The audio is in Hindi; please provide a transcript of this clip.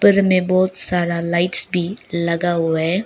ऊपर में बहुत सारा लाइट्स भी लगा हुआ है।